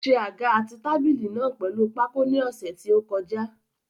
Ó ṣe àga àti tábìlì náà pèlu pákó ni ọ̀sẹ̀ tí ó kọjá.